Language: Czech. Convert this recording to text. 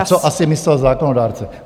A to asi myslel zákonodárce.